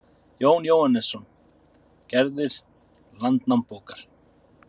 Jón Jóhannesson: Gerðir Landnámabókar.